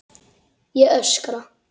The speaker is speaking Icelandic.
Ég öskra.